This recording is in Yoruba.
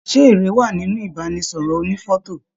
Ṣe èrè wá nínú ibanisọrọ ònífọ̀tò?